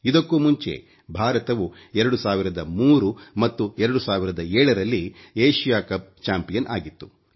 ಇದಕ್ಕೂ ಮುಂಚೆ ಭಾರತವು 2003 ಮತ್ತು 2007 ರಲ್ಲಿ ಏಶಿಯ ಕಪ್ ಚಾಂಪಿಯನ್ ಆಗಿತ್ತು